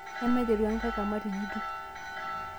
Emaiteru enkae kamati ng'ejuk